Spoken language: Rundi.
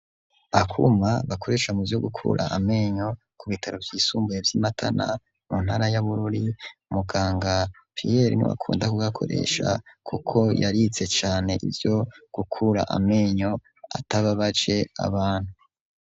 Akuma bakoresha muvyo gukura amenyo ku bitaro vy’imakamba mu ntara ya bururi muganga pierre niwe akunda kugakoresha kuko yarize cane ivuo gukura menyo atababaje abantu .